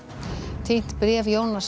týnt bréf Jónasar